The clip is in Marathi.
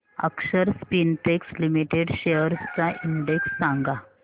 अक्षर स्पिनटेक्स लिमिटेड शेअर्स चा इंडेक्स सांगा